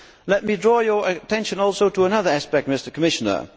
Let me draw your attention also to another aspect, Mr Commissioner.